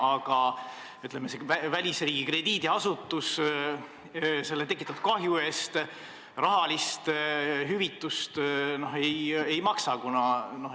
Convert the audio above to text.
Aga välisriigi krediidiasutus tekitatud kahju eest rahalist hüvitist ei maksa.